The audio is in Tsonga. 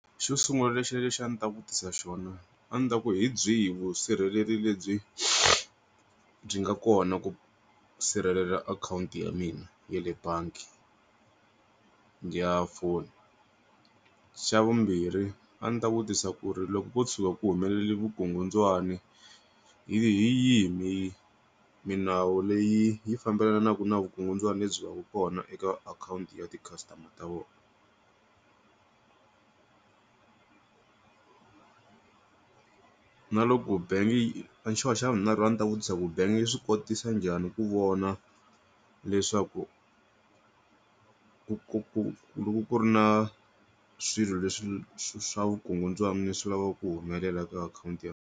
Xo sungla lexi lexi a ndzi ta vutisa xona a ni ta ku hi byi hi vusirheleri lebyi byi nga kona ku sirhelela akhawunti ya mina ya le bangi ya foni? Xa vumbirhi a ndzi ta vutisa ku ri loko ko tshuka ku humelele vukungundwani, ivi hi yihi milawu leyi yi fambelanaka na vukungundwani lebyi va nga kona eka akhawunti ya ti-costumer ta vona? Na loko bangi xa vunharhu a ndzi ta vutisa ku bangi leswi kotisa njhani ku vona leswaku loko ku ri na swilo leswi swa vukungundwani leswi lavaka ku humelela ka akhawunti ya .